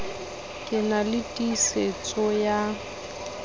ke na le tiisetso ya